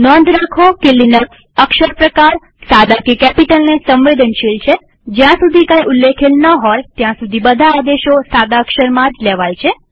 નોંધ રાખો કે લિનક્સ અક્ષર પ્રકારસાદા કે કેપિટલને સંવેદનશીલ છેજ્યાં સુધી કઈ ઉલ્લેખેલ ન હોય ત્યાં સુધી બધા આદેશો સાદા અક્ષરમાં જ લેવાય છે